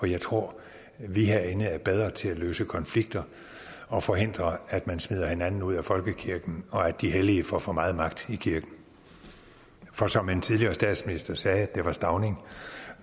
jeg tror at vi herinde er bedre til at løse konflikter og forhindre at man smider hinanden ud af folkekirken og at de hellige får for meget magt i kirken for som en tidligere statsminister sagde det var stauning